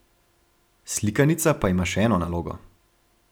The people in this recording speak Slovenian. Slikanica pa ima še eno nalogo.